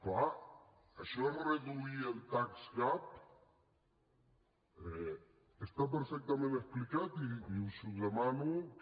clar això és reduir el tax gap hi està perfectament explicat i us demano que